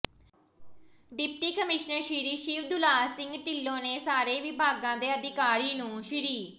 deputy commissioner Shri Shivdular Singh Dhillon ਨੇ ਸਾਰੇ ਵਿਭਾਗਾਂ ਦੇ ਅਧਿਕਾਰੀ ਨੂੰ ਸ੍ਰੀ ਓ